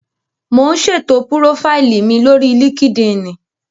Mò ún ṣètò púrófáìlì mi lórí líkídíìnì